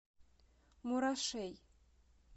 мурашей